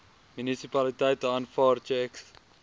munisipaliteite aanvaar tjeks